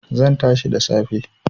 Zan tashi da safe